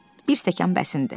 Bir stəkan bəsindir.